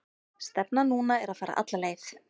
Stefnan núna er að fara alla leið.